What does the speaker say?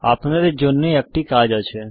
আপনাদের জন্যে একটা কাজ আছে